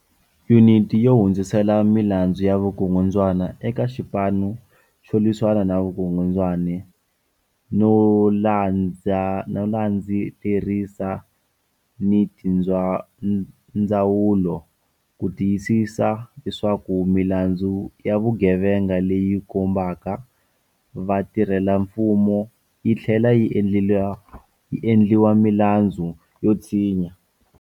Yuniti yo hundzisela milandzu ya vukungundwani eka Xipanu xo Lwisana ni Vukungundwani no landzelerisa ni tindzawulo ku ti yisisa leswaku milandzu ya vugevenga leyi khumbaka vatirhelamfumo yi tlhlela yi endliwa milandzu yo tshinya.